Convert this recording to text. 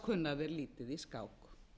kunna þeir lítið í skák